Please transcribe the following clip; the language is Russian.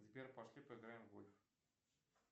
сбер пошли поиграем в гольф